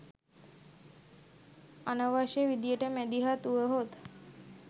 අනව්‍ශ්‍ය විදියට මැදිහත් උවහොත්